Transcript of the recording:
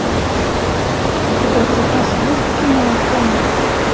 у тебя в запасе есть кино афоня